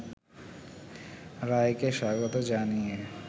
রায়কে স্বাগত জানিয়ে